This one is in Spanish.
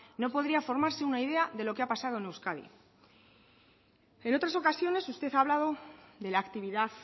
no podría formarse una idea de lo que ha pasado en euskadi en otras ocasiones usted ha hablado de la actividad